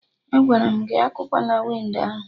Agwara m gị "akụwana windo ahụ"!